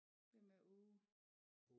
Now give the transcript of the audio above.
Hvem er Åge